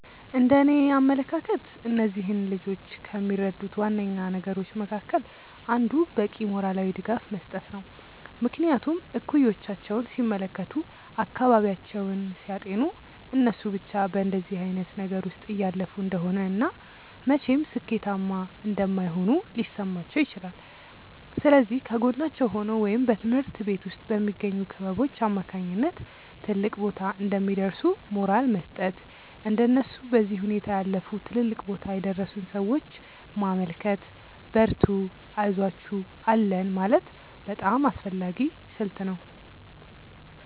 እንደእኔ አመለካከት እነዚህን ልጆች ከሚረዱት ዋነኛ ነገሮች መካከል አንዱ በቂ ሞራላዊ ድጋፍ መስጠት ነው። ምክንያቱም እኩዮቻቸውን ሲመለከቱ፤ አካባቢያቸውን ሲያጤኑ እነሱ ብቻ በእንደዚህ አይነት ነገር ውስጥ እያለፉ እንደሆነ እና መቼም ሥኬታማ እንደማይሆኑ ሊሰማቸው ይችላል። ስለዚህ ከጎናቸው ሆኖ ወይም በትምሀርት ቤት ውስጥ በሚገኙ ክበቦች አማካኝነት ትልቅ ቦታ እንደሚደርሱ ሞራል መስጠት፤ እንደነሱ በዚህ ሁኔታ ያለፉ ትልልቅ ቦታ የደረሱን ሰዎች ማመልከት፤ በርቱ አይዞአችሁ አለን ማለት በጣም አስፈላጊ ስልት ነው።